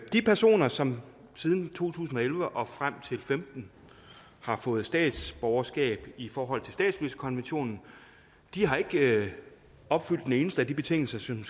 de personer som siden to tusind og elleve og frem til femten har fået statsborgerskab i forhold til statsløsekonventionen har ikke opfyldt en eneste af de betingelser som